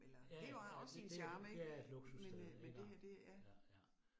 Ja ja, ja det det det er et luksussted iggå, ja ja